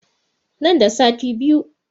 Nan da sati biyu